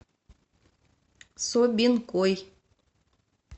собинкой